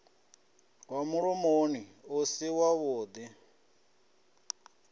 wa mulomoni u si wavhuḓi